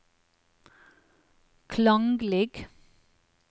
klanglig